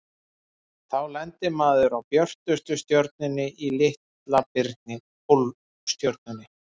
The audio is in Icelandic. Þá lendir maður á björtustu stjörnunni í Litla-birni, Pólstjörnunni.